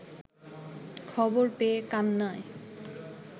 খবর পেয়ে কান্নায়